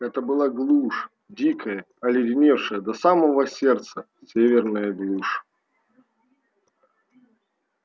это была глушь дикая оледеневшая до самого сердца северная глушь